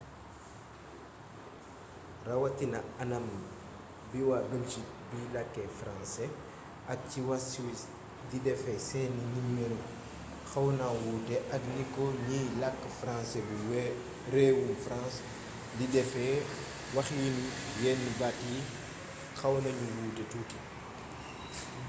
rawatina anam wi waa belgique biy làkk francais ak ci waa suisse di defee seeni nimero xawna wuute ak ni ko ñiy làkk francais bu réewum france di defee waxiinu yenn baat yi xaw nañu wuute tuuti